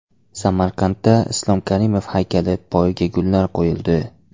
Samarqandda Islom Karimov haykali poyiga gullar qo‘yildi.